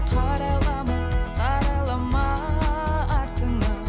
қарайлама қарайлама артыңа